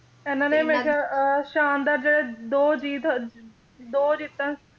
ਇਹਨਾਂ ਨੇ ਹਮੇਸ਼ਾ ਅਹ ਸ਼ਾਨਦਾਰ ਜਿਹੜੇ ਦੋ ਜੀਤ ਦੋ ਜਿੱਤਾਂ ਸੀ